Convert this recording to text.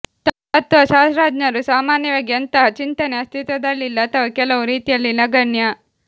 ತತ್ವಶಾಸ್ತ್ರಜ್ಞರು ಸಾಮಾನ್ಯವಾಗಿ ಅಂತಹ ಚಿಂತನೆ ಅಸ್ತಿತ್ವದಲ್ಲಿಲ್ಲ ಅಥವಾ ಕೆಲವು ರೀತಿಯಲ್ಲಿ ನಗಣ್ಯ